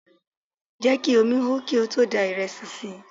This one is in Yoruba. Jẹ́ kí omi hó kí o tó da ìrẹsì sí i!